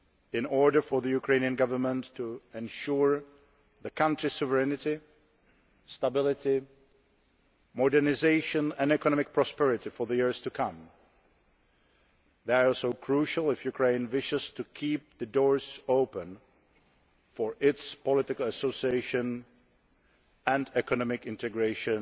in order for the Ukrainian Government to ensure the country's sovereignty, stability, modernisation and economic prosperity for the years to come. They are also crucial if Ukraine wishes to keep the doors open for its political association and economic integration